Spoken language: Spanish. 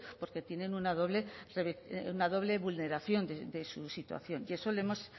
porque tienen una doble vulneración de su situación y eso lo hemos